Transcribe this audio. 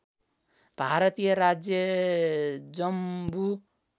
भारतीय राज्य जम्मु